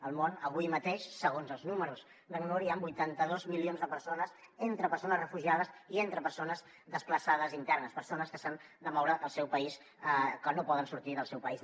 al món avui mateix segons els números d’acnur hi han vuitanta dos milions de persones entre persones refugiades i entre persones desplaçades internes persones que s’han de moure al seu país que no poden sortir del seu país